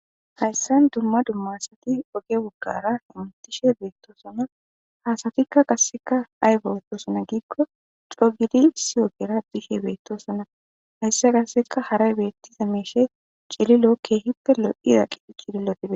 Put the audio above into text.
Hayssan dumma dumma asathi oge baggaara hamoththishe beeththoosona; ha asathikka qassikka aybawu boosona giikko coo giidi issi ogeera biishe beeththosona; hayssan qassika haray beeththidabi cililo keehippe lo7iya cililothi beeththoosona.